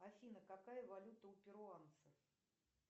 афина какая валюта у перуанцев